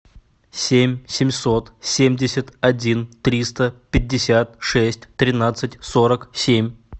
семь семьсот семьдесят один триста пятьдесят шесть тринадцать сорок семь